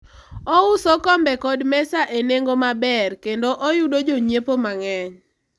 ouso kombe kod mesa e nengo maber kendo oyudo jonyiepo mang'eny